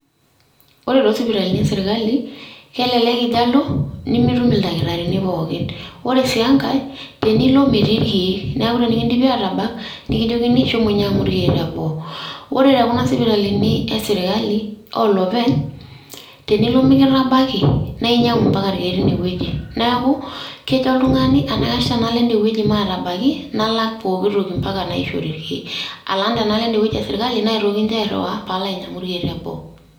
Ore to sipitalini esirkali, kelelek ijo alo mitum ildakitarini pookin. Ore si enkae, tenilo metii irkeek. Neeku tenikidipi atabak, nikijokini shomo nyang'u irkeek teboo. Ore tekuna sipitalini esirkali oloopeny, tenilo mikitabaki, na inyang'u mpaka irkeek teinewueji. Neeku, kejo oltung'ani enaikash enalo ede wueji matabaki, nalak pooki toki mpaka naishori irkeek, alang' tenalo ede wueji esirkali naitoki nche airriwaa paalo ainyang'u irkeek teboo.